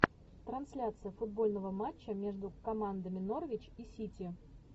трансляция футбольного матча между командами норвич и сити